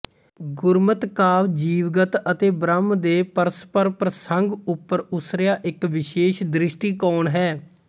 ਗੁਰਮਤਿ ਕਾਵਿ ਜੀਵਗਤ ਅਤੇ ਬ੍ਰਹਮ ਦੇ ਪਰਸਪਰ ਪ੍ਰਸੰਗ ਉੱਪਰ ਉੱਸਰਿਆ ਇੱਕ ਵਿਸ਼ੇਸ਼ ਦ੍ਰਿਸ਼ਟੀਕੋਣ ਹੈ